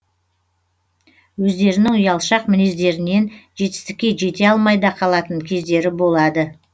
өздерінің ұялшақ мінездерінен жетістікке жете алмай да қалатын кездері болады